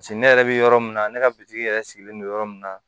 ne yɛrɛ bɛ yɔrɔ min na ne ka bitigi yɛrɛ sigilen don yɔrɔ min na